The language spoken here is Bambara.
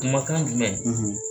Kumakan jumɛn ?